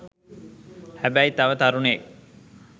හැබැයි තව තරුණයෙක්